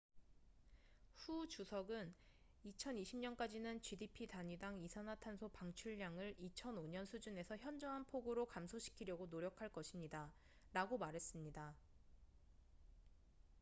"후 주석은 "2020년까지는 gdp 단위당 이산화탄소 방출량을 2005년 수준에서 현저한 폭으로 감소시키려고 노력할 것입니다""라고 말했습니다.